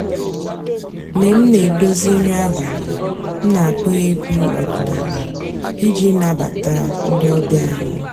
mg̀bé m nà-èdozí nrí àbàlí m nà-àkpọ́ ègwú ọ̀dị́náàlà ìjì nàbàtá ndị́ ọ̀bị́á ànyị́.